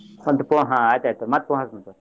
ಸಂಜಿ phone ಅಹ್ ಆಯ್ತ್ ಆಯ್ತ್ ತಗೊ ಮತ್ತ್ phone ಹಚ್ಚತೇನ್ ತಗೊ.